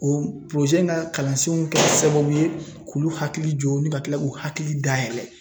O porozɛ ka in kalansenw kɛra sababu ye k'olu hakiliw jɔ ni ka kila k'u hakili dayɛlɛ